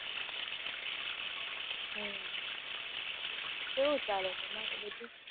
હમ કેવું ચાલે તમારું, બધું?